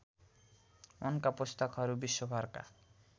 उनका पुस्तकहरू विश्वभरका